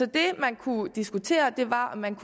det man kunne diskutere var om man